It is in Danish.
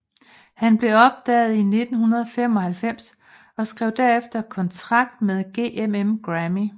Han blev opdaget i 1995 og skrev derefter kontrakt med GMM Grammy